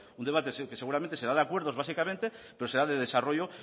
un debate que seguramente será de acuerdos básicamente pero será de desarrollo